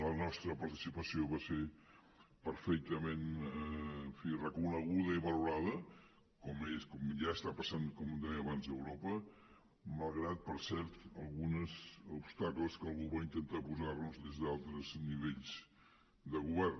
la nostra participació va ser perfectament en fi reconeguda i valorada com ja està passant com deia abans a europa malgrat per cert alguns obstacles que algú va intentar posar nos des d’altres nivells de govern